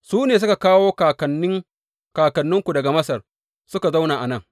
Su ne suka kawo kakanni kakanninku daga Masar suka zauna a nan.